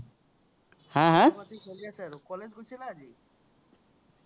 খবৰ পাতি চলি আছে আৰু। college গৈছিলা আজি?